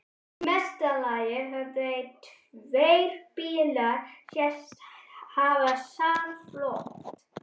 Í mesta lagi höfðu tveir bílar sést hafa samflot.